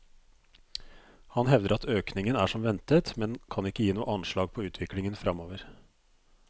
Han hevder at økningen er som ventet, men kan ikke gi noe anslag på utviklingen fremover.